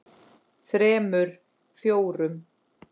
þremur. fjórum.